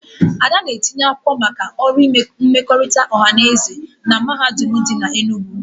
Ada na-etinye akwụkwọ maka ọrụ mmekọrịta ọha na eze na mahadum dị n'Enugwu